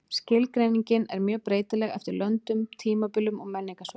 Skilgreiningin er mjög breytileg eftir löndum, tímabilum og menningarsvæðum.